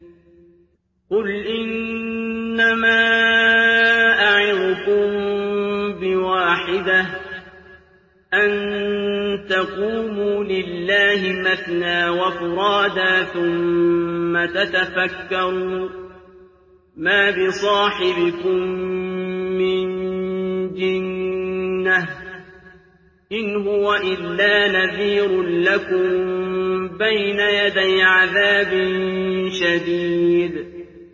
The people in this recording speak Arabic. ۞ قُلْ إِنَّمَا أَعِظُكُم بِوَاحِدَةٍ ۖ أَن تَقُومُوا لِلَّهِ مَثْنَىٰ وَفُرَادَىٰ ثُمَّ تَتَفَكَّرُوا ۚ مَا بِصَاحِبِكُم مِّن جِنَّةٍ ۚ إِنْ هُوَ إِلَّا نَذِيرٌ لَّكُم بَيْنَ يَدَيْ عَذَابٍ شَدِيدٍ